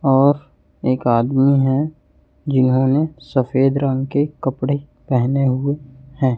और एक आदमी है जिन्होंने सफेद रंग के कपड़े पेहने हुए हैं।